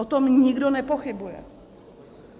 O tom nikdo nepochybuje.